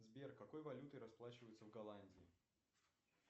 сбер какой валютой расплачиваются в голландии